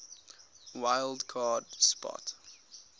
wild card spot